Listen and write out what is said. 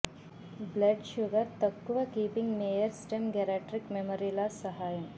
blood sugar తక్కువ keeping mayor stem geriatric memory loss సహాయం